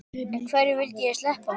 En hverju vildi ég sleppa?